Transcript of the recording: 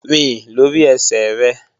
Rìn lórí ẹsẹ̀ rẹ!